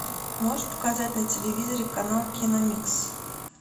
можешь показать на телевизоре канал киномикс